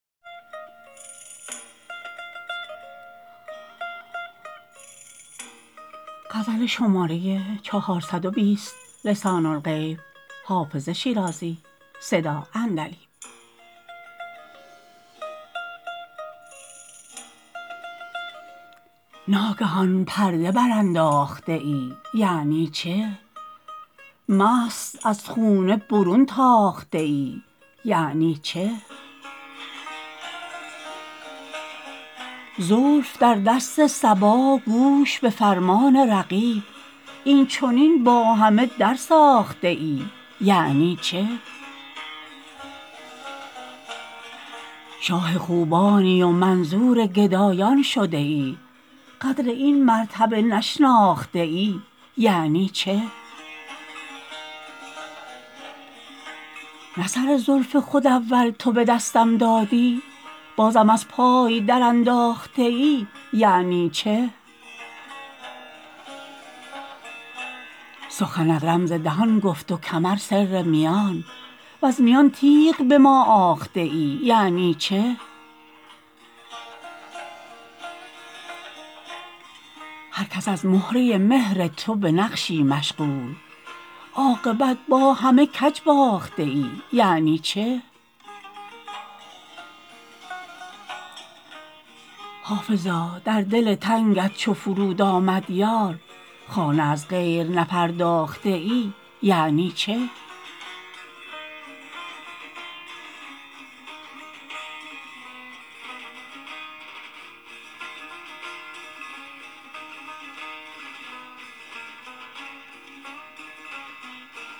ناگهان پرده برانداخته ای یعنی چه مست از خانه برون تاخته ای یعنی چه زلف در دست صبا گوش به فرمان رقیب این چنین با همه درساخته ای یعنی چه شاه خوبانی و منظور گدایان شده ای قدر این مرتبه نشناخته ای یعنی چه نه سر زلف خود اول تو به دستم دادی بازم از پای درانداخته ای یعنی چه سخنت رمز دهان گفت و کمر سر میان وز میان تیغ به ما آخته ای یعنی چه هر کس از مهره مهر تو به نقشی مشغول عاقبت با همه کج باخته ای یعنی چه حافظا در دل تنگت چو فرود آمد یار خانه از غیر نپرداخته ای یعنی چه